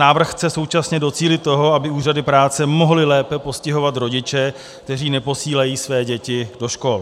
Návrh chce současně docílit toho, aby úřady práce mohly lépe postihovat rodiče, kteří neposílají své děti do škol.